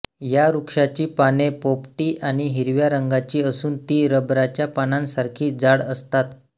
या वृक्षाची पाने पोपटी आणि हिरव्या रंगाची असून ती रबराच्या पानांसारखी जाड असतात